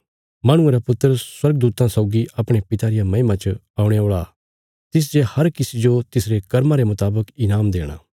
माहणुये रा पुत्र स्वर्गदूतां सौगी अपणे पिता रिया महिमा च औणे औल़ा तिसजे हर किसी जो तिसरे कर्मां रे मुतावक ईनाम देणा